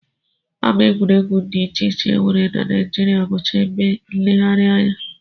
Ama egwuregwu dị iche iche e nwere na Naijiria bụcha ebe nlereanya